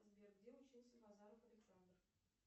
сбер где учился базаров александр